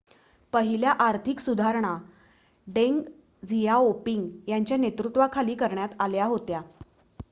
पहिल्या आर्थिक सुधारणा डेंग झियाओपिंग यांच्या नेतृत्वाखाली करण्यात आल्या होत्या